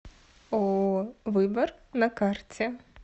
ооо выбор на карте